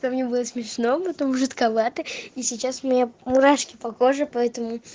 то мне было смешно потом жутковато и сейчас у меня мурашки по коже поэтому